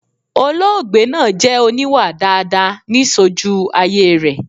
Olóògbé naa jẹ oníwà daadaa ni sojú ayé rẹ̀